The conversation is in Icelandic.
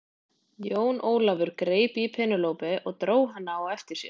Jón Ólafur greip í Penélope og dró hana á eftir sér.